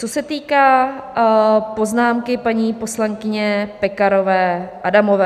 Co se týká poznámky paní poslankyně Pekarové Adamové.